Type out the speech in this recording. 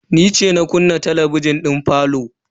Ni ce na kunna talabijin din falo.